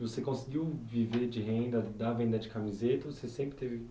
Você conseguiu viver de renda da venda de camiseta ou você sempre teve